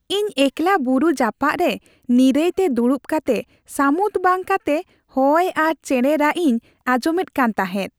ᱤᱧ ᱮᱠᱞᱟ ᱵᱩᱨᱩ ᱡᱟᱯᱟᱜ ᱨᱮ ᱱᱤᱨᱟᱹᱭᱛᱮ ᱫᱩᱲᱩᱵ ᱠᱟᱛᱮ ᱥᱟᱹᱢᱩᱫ ᱵᱟᱝ ᱠᱟᱛᱮ ᱦᱚᱭ ᱟᱨ ᱪᱮᱬᱮ ᱨᱟᱜ ᱤᱧ ᱟᱸᱡᱚᱢ ᱮᱫ ᱠᱟᱱ ᱛᱟᱦᱮᱸᱫ ᱾